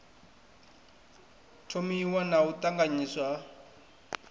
thomiwa na u ṱanganyiswa ha